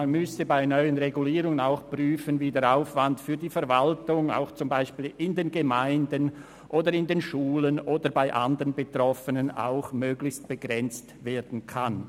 man müsste bei den neuen Regulierungen auch prüfen, wie der Aufwand für die Verwaltung zum Beispiel in den Gemeinden, in den Schulen oder bei anderen Betroffenen ebenfalls möglichst begrenzt werden kann.